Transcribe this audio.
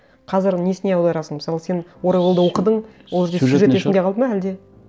қазір несіне аударасың мысалы сен оруэллды оқыдың ол жерде сюжет есіңде қалды ма әлде